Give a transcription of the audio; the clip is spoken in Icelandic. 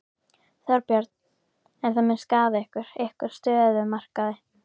Þorbjörn: En það mun skaða ykkur, ykkar stöðu á markaði?